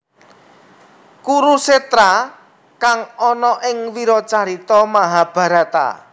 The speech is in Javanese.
Kurukshetra kang ana ing wiracarita Mahabharata